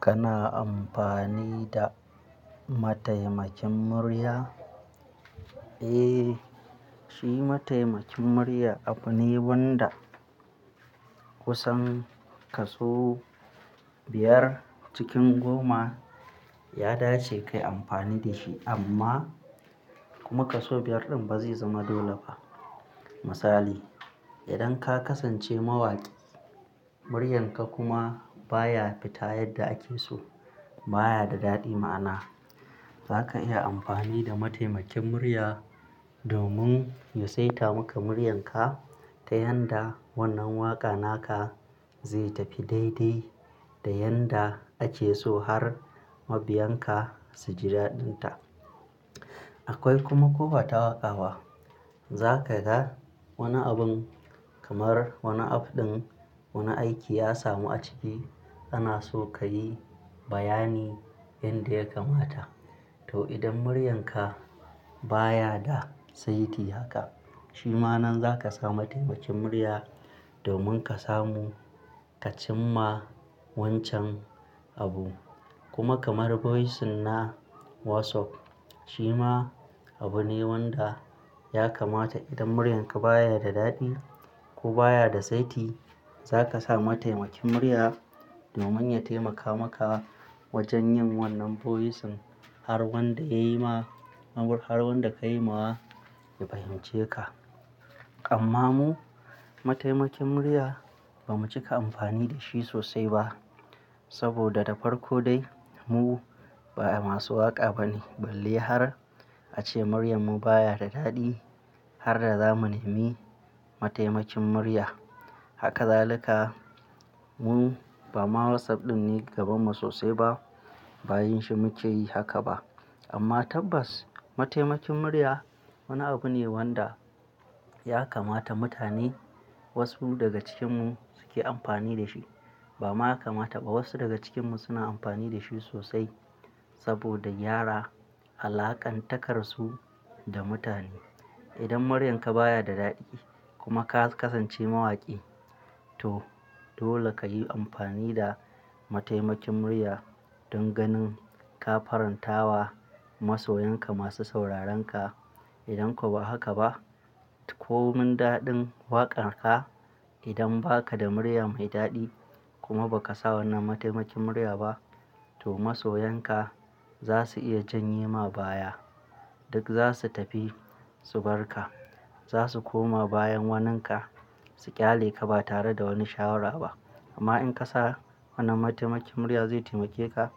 Kana amfani da mataimakin murya? Eh, shi mataimakin murya abu ne wanda kusan kaso biyar cikin goma ya dace kayi amfani da shi amma kuma kaso biyar ɗin ba zai zama dole ba. Misali, idan ka kasance mawaƙi, muryanka kuma baya fita yadda ake so, baya da daɗi ma'ana, zaka iya amfani da mataimakin murya domin ya saita maka muryanka ta yanda wannan waƙa naka zai tafi daidai da yadda ake so har mabiyan ka su ji daɗinta. Akwai kuma kofa ta waƙawa. Zaka ga wani abun kamar wani af ɗin wani aiki ya samu a ciki, ana so kayi bayani yanda ya kamata. To idan muryanka baya da saiti haka, shi ma nan zaka sa mataimakin murya domin ka samu ka cimma wancan abu. Kuma kamar voice na WhatsApp, shi ma abu ne wanda ya kamata idan muryanka baya da daɗi ko baya da saiti, zaka sa mataimakin murya domin ya taimaka maka wajen yin wannan voice har wanda yayi ma-- abun har wanda ka yima wa ya fahimce ka. Amma mu, mataimakin murya ba mu cika amfani da shi sosai ba saboda da farko dai mu ba masu waƙa ba ne, balla har ace muryar mu baya da daɗi har da za mu nemi mataimakin murya. Haka zalika mu ba ma WhatsApp ɗin ne gabanmu sosai ba, ba yin shi muke yi haka ba. Amma tabbas mataimakin murya wani abu ne wanda ya kamata mutane wasu daga cikinmu suke amfani da shi. Ba ma ya kamata ba wasu daga cikinmu suna amfani da shi sosai saboda gyara alaƙan takarsu da mutane. Idan muryanka baya da daɗi kuma ka kasance mawaƙi to dole kayi amfani da mataimakin murya don ganin ka faranta wa masoyanka masu sauraronka. Idan kuwa ba haka ba, komin daɗin waƙan ka idan ba ka da muryar mai daɗi kuma ba ka sa wannan mataimakin murya ba to masoyanka za su iya janye ma baya. Duk za su tafi su bar ka. Za su koma bayan waninka su ƙyale ka ba tare da wani shawara ba. Amma in ka sa wannan mataimakin murya zai taimake ka,